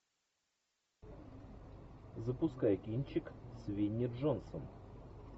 запускай кинчик с винни джонсом